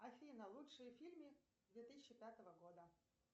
афина лучшие фильмы две тысячи пятого года